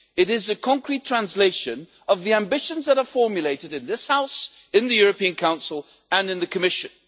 it is a concrete translation of the ambitions that are formulated in this House, in the European Council, and in the Commission.